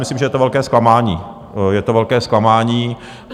Myslím, že je to velké zklamání, je to velké zklamání.